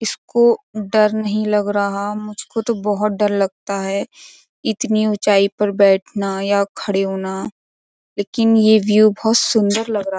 इसको डर नहीं लग रहा मुझको तो बहुत डर लगता है इतनी ऊँचाई पर बैठना या खड़े होना लेकिन ये व्यू बोहोत सुंदर लग रहा --